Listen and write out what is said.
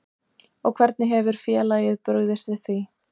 Og hvernig hefur félagið brugðist við því?